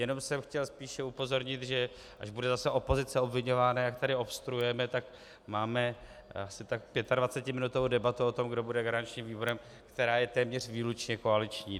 Jenom jsem chtěl spíše upozornit, že až bude zase opozice obviňována, jak tady obstruujeme, tak máme asi 25minutovou debatu o tom, kdo bude garančním výborem, která je téměř výlučně koaliční.